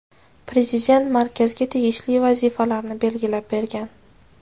Prezident markazga tegishli vazifalarni belgilab bergan.